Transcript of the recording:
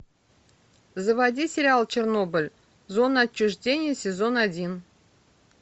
заводи сериал чернобыль зона отчуждения сезон один